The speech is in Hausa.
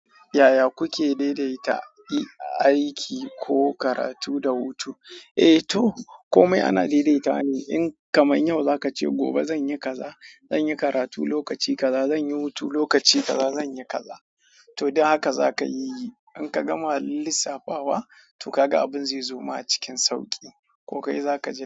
Yaya kuke daidaita aiki ko karatu da hutu? Eh to komai ana daidaitawa ne in kamar yau za ka ce gobe zan yi kaza, zan yi karatu lokaci kaza, zan yi hutu lokaci kaza, zan yi kaza. To don haka za ka yi yi. In ka gama lissafawa to ka ga abin zai zo ma a cikin sauƙi ko kai za ka ji.